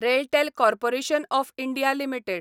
RailTel corporation of India limited